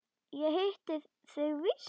Ég hitti þig víst!